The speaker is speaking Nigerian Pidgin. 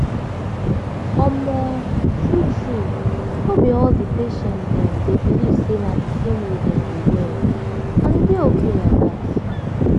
omo true true no be all di patient dem dey believe say na di same way dem go well and e dey okay like dat.